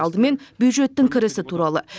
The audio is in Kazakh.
алдымен бюджеттің кірісі туралы